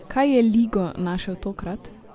Kaj je Ligo našel tokrat?